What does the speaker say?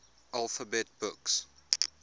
alphabet books